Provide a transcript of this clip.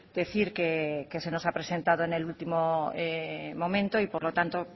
decir que se nos ha presentado en el último momento y por lo tanto